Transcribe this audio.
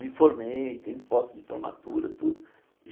Me formei, tenho fotos de formatura, tudo.